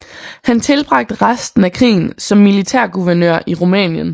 Han tilbragte resten af krigen som militærguvernør i Rumænien